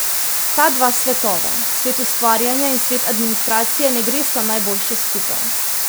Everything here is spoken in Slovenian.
Ta dva svetova, svet ustvarjanja in svet administracije, ne gresta najboljše skupaj.